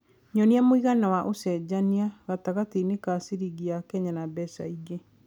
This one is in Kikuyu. nyonĩa mũigana wa ũcenjanĩa gatagatiinĩ ka ciringi ya Kenya na mbeca ingĩ